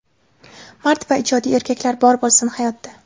Mard va jiddiy erkaklar bor bo‘lsin, hayotda!”